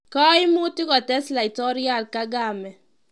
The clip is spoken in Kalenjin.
Kaimutik kotes laitoriat Kagame.